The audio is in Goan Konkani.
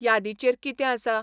यादीचेर कितें आसा?